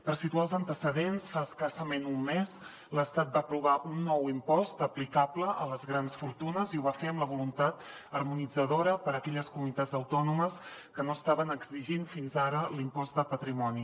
per situar els antecedents fa escassament un mes l’estat va aprovar un nou impost aplicable a les grans fortunes i ho va fer amb la voluntat harmonitzadora per a aquelles comunitats autònomes que no estaven exigint fins ara l’impost de patrimoni